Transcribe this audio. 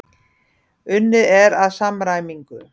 Unnið er að samræmingu.